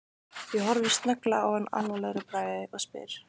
Ég horfi snögglega á hana alvarlegur í bragði og spyr